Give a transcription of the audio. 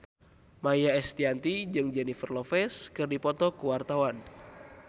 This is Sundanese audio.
Maia Estianty jeung Jennifer Lopez keur dipoto ku wartawan